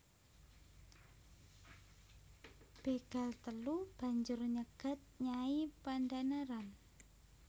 Bégal telu banjur nyegat Nyai Pandhanaran